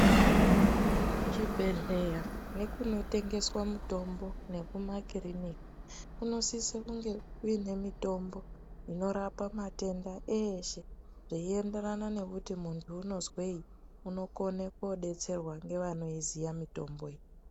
Kuchibhedhleya nekunotengeswa mutombo nekumakirinika kunosise kunge kune mitombo inorapa matenda eshe, zvichienderana nekuti munhu unozwei unokone kudetserwa ngevanoiziya mitombo iyi.